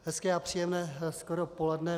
Hezké a příjemné skoro poledne.